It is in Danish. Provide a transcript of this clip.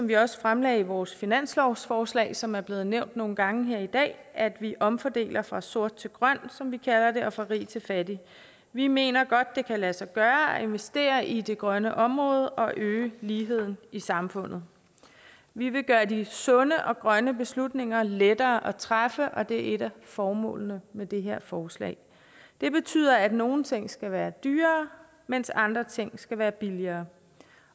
vi også fremlagde i vores finanslovsforslag som er blevet nævnt nogle gange her i dag at vi omfordeler fra sort til grøn som vi kalder det og fra rig til fattig vi mener godt at det kan lade sig gøre at investere i det grønne område og øge ligheden i samfundet vi vil gøre de sunde og grønne beslutninger lettere at træffe og det er et af formålene med det her forslag det betyder at nogle ting skal være dyrere mens andre ting skal være billigere